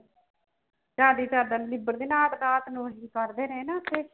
ਸਾਡੀ ਚਾਦਰ ਨੀ ਲਿਬੜਦੀ ਰਾਤ ਨੂੰ ਵੀ ਕੱਢਦੇ ਰਹੇ ਨਾ ਉੱਥੇ।